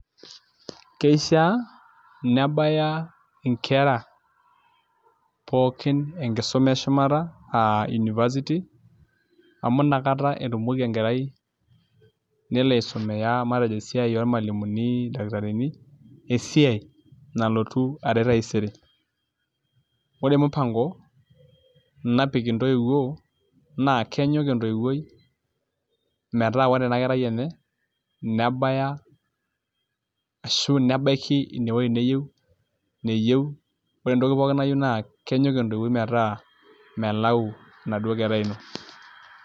Keishiaa nebaya nkera pookin enkisuma eshumata aa University amu nakata etumoki enkerai nelo aisumia matejo esiai ormalimuni, ildakitarini esiai nalotu aret taisere, ore mpango napik ntoiwuo naa kenyok entoiwuoi metaa ore ena kerai enye nebaya ashu nebaiki inewuei neyieu ore entoki pookin nayieu naa kenyok entoiwuoi metaa melau ina kerai ino.